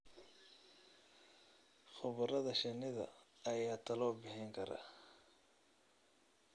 Khubarada shinnida ayaa talo bixin kara.